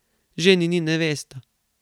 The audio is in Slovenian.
Ženin in nevesta.